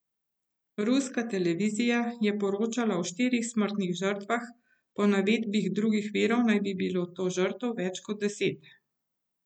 Ruska televizija je poročala o štirih smrtnih žrtvah, po navedbah drugih virov naj bi bilo žrtev več kot deset.